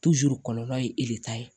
kɔlɔlɔ ye e de ta ye